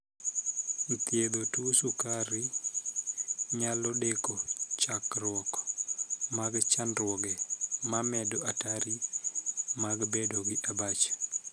Thiedho tuo sukar nyalo deko chakruok mag chandruoge mamedo atari mag bedo gi abach.